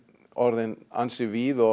orðin ansi víð og á